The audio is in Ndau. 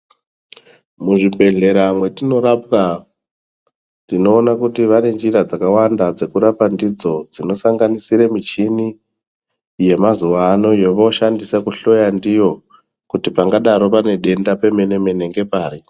Muzvibhedhlera mwetinorapwa tinoona kuti vane njira dzakawanda dzekurapa ndidzo dzinosanganisire michini yemazuwa ano yovooshandisa kuhloya ndiyo kuti pangadaro pane denda pemene mene ngepari.